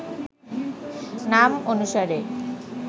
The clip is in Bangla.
নাম অনুসারে